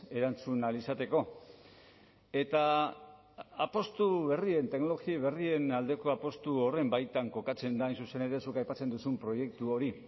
erantzun ahal izateko eta apustu berrien teknologia berrien aldeko apustu horren baitan kokatzen da hain zuzen ere zuk aipatzen duzun proiektu hori